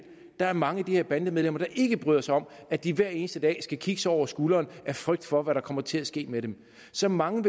der er mange af de her bandemedlemmer der ikke bryder sig om at de hver eneste dag skal kigge sig over skulderen af frygt for hvad der kommer til at ske med dem så mange